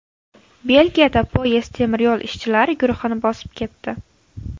Belgiyada poyezd temir yo‘l ishchilari guruhini bosib ketdi.